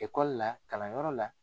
Ekɔli la kalanyɔrɔ la.